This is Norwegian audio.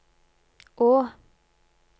å